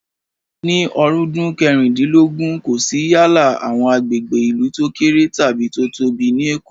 Ni ọ̀rúndún kẹrìndínlógún, kò sí yálà àwọn agbègbè ìlú tó kéré tàbí tó tóbi ní Èkó